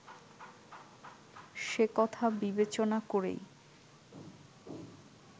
সেকথা বিবেচনা করেই